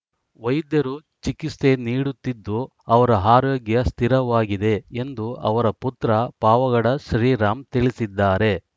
ವೈದ್ಯರು ಚಿಕಿಸ್ತೆ ನೀಡುತ್ತಿದ್ದು ಅವರ ಆರೋಗ್ಯ ಸ್ಥಿರವಾಗಿದೆ ಎಂದು ಅವರ ಪುತ್ರ ಪಾವಗಡ ಶ್ರೀರಾಮ್‌ ತಿಳಿಸಿದ್ದಾರೆ